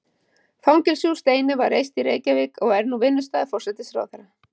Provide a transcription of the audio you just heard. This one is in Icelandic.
Fangelsi úr steini var reist í Reykjavík og er nú vinnustaður forsætisráðherra.